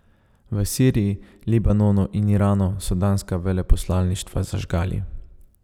V Siriji, Libanonu in Iranu so danska veleposlaništva zažgali.